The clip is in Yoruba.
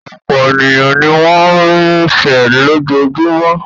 Ọ̀pọ̀ ènìyàn ní wọn ń rinsẹ̀ lójoojúmọ́.